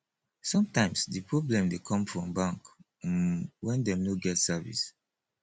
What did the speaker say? sometimes di problem dey come from bank um when dem no get service